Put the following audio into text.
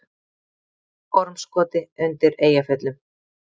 Ormskoti undir Eyjafjöllum.